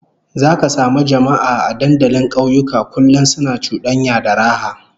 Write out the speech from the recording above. Zaka samu jama'a a dandalin kauyuka kullum suna cudanya da raha